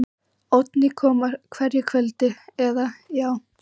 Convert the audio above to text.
Oddný kom á hverju kvöldi, eða, já.